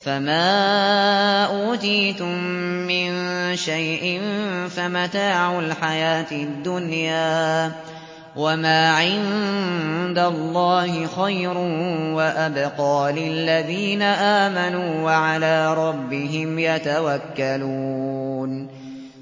فَمَا أُوتِيتُم مِّن شَيْءٍ فَمَتَاعُ الْحَيَاةِ الدُّنْيَا ۖ وَمَا عِندَ اللَّهِ خَيْرٌ وَأَبْقَىٰ لِلَّذِينَ آمَنُوا وَعَلَىٰ رَبِّهِمْ يَتَوَكَّلُونَ